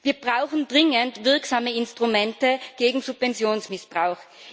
Wir brauchen dringend wirksame Instrumente gegen Subventionsmissbrauch.